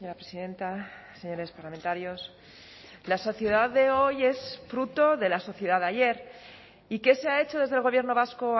presidenta señores parlamentarios la sociedad de hoy es fruto de la sociedad de ayer y qué se ha hecho desde el gobierno vasco